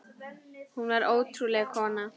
Hún var ótrúleg kona.